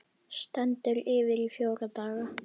Stendur yfir í fjóra daga.